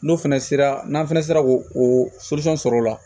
N'o fɛnɛ sera n'an fɛnɛ sera k'o o sɔrɔ o la